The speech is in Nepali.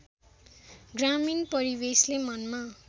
ग्रामीण परिवेशले मनमा